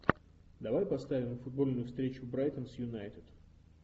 давай поставим футбольную встречу брайтон с юнайтед